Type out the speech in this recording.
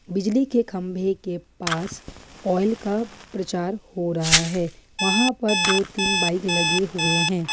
बिजली के खंभे के पास ऑयल का प्रचार हो रहा है वहां पर दो तीन बाइक लगे हुए हैं।